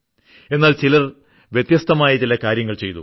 എന്നാൽ ചിലർ വ്യത്യസ്തമായ ചില കാര്യങ്ങൾ ചെയ്തു